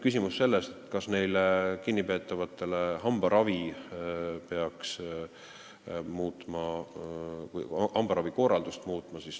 Küsimus, kas peaks kinnipeetavate hambaravi korraldust muutma.